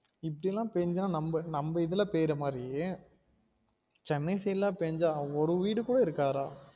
இப்டிலாம் பேஞ்சா நம்ம நம்ம இதுல பேயுர மாறி சென்னை side லாம் பேஞ்சா ஒரு வீடு கூட இருக்காது டா